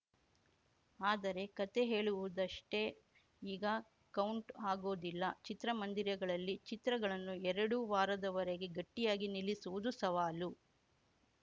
ಆದರೆ ಕತೆ ಹೇಳುವುದಷ್ಟೇ ಈಗ ಕೌಂಟ್‌ ಆಗೋದಿಲ್ಲ ಚಿತ್ರಮಂದಿರಗಳಲ್ಲಿ ಚಿತ್ರಗಳನ್ನು ಎರಡು ವಾರದವರೆಗೆ ಗಟ್ಟಿಯಾಗಿ ನಿಲ್ಲಿಸುವುದು ಸವಾಲು